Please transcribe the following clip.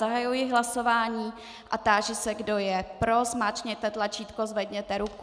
Zahajuji hlasování a táži se, kdo je pro, zmáčkněte tlačítko, zvedněte ruku.